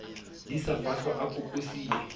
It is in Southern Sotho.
di sa fahlwa a kokosile